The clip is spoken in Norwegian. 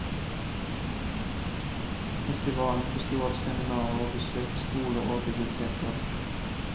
Festivalen besto av seminarer og besøk i skoler og biblioteker.